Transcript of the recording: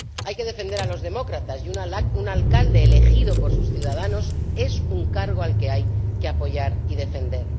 Hay que defender a los demócratas, y un alcalde elegido por sus ciudadanos es un cargo al que hay que apoyar y defender.